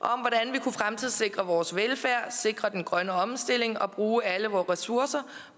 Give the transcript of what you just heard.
vi kunne fremtidssikre vores velfærd sikre den grønne omstilling og bruge alle vores ressourcer